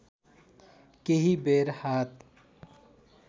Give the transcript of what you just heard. केही बेर हात